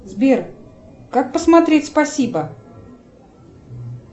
сбер как посмотреть спасибо